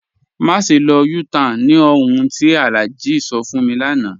Màṣẹ lọ U-Tan ni ọ̀hun tí Alhaji sọ̀ fún mi lánà.